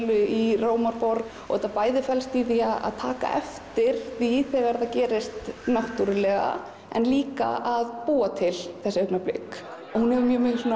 í Rómarborg þetta bæði felst í því að taka eftir því þegar þetta gerist náttúrulega en líka að búa til þessi augnablik hún hefur